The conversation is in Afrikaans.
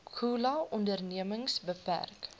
khula ondernemings beperk